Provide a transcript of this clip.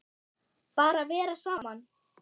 Bara vera saman.